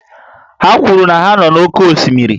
Ha kwuru na ha nọ n'oké osimiri